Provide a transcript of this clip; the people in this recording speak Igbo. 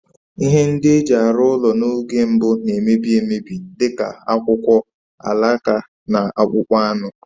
Ihe ndị e ji arụ ụlọ n'oge mbụ na-emebi emebi, dị ka akwụkwọ, alaka, na akpụkpọ anụ.